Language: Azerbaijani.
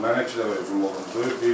Mənə iki dəfə hücum olundu.